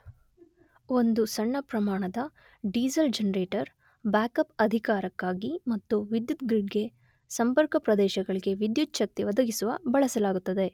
ಒಂದು ಸಣ್ಣ ಪ್ರಮಾಣದ ಡೀಸಲ್ ಜನರೇಟರ್ ಬ್ಯಾಕ್ಅಪ್ ಅಧಿಕಾರಕ್ಕಾಗಿ ಮತ್ತು ವಿದ್ಯುತ್ ಗ್ರಿಡ್ ಗೆ ಸಂಪರ್ಕ ಪ್ರದೇಶಗಳಿಗೆ ವಿದ್ಯುಚ್ಛಕ್ತಿ ಒದಗಿಸುವ ಬಳಸಲಾಗುತ್ತದೆ.